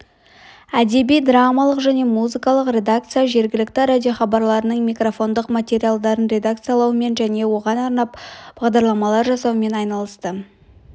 әдеби-драмалық және музыкалық редакция жергілікті радиохабарларының микрофондық материалдарын редакциялаумен және оған арнап бағдарламалар жасаумен айналысты